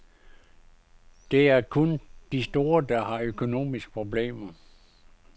Det er kun de store, der har økonomiske problemer.